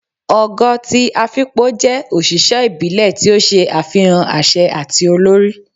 ogo ti Afikpo jẹ oṣiṣẹ ibile ti o ṣe afihan aṣẹ ati olori